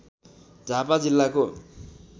झापा जिल्लाको